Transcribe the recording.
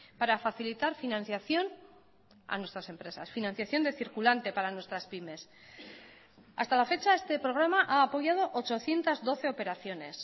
para facilitar financiación a nuestras empresas financiación de circulante para nuestras pymes hasta la fecha este programa ha apoyado ochocientos doce operaciones